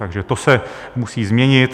Takže to se musí změnit.